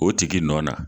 O tigi nɔ na